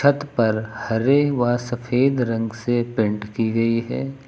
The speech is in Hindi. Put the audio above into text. छत पर हरे व सफेद रंग से पेंट की गई है।